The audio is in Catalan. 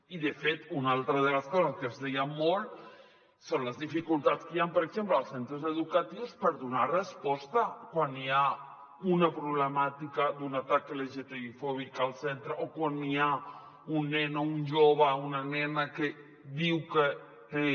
i de fet una altra de les coses que es deia molt són les dificultats que hi han per exemple als centres educatius per donar resposta quan hi ha una problemàtica d’un atac lgtbi fòbic al centre o quan hi ha un nen o un jove una nena que diu que té